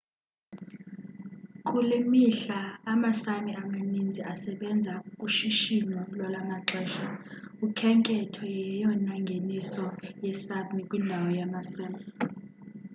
kule mihla ama sámi amaninzi asebenza kushishino lwalwamaxesha. ukhenketho yeyona ngeniso esápmi kwindawo yama sám